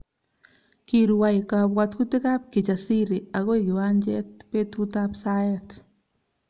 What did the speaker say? Kirwai kabwatutikab Kijasiri akoi kiwanjet betutap saet